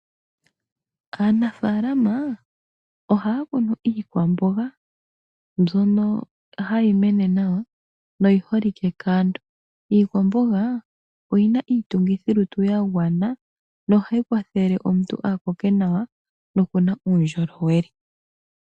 Aanafaalama ohaya kunu iikwamboga, mbyono hayi mene nawa noyiholike kaantu. Iikwamboga oyina iitungithilutu yagwana, nohayi kwathele omuntu akoke nawa, nokuna uundjolowele.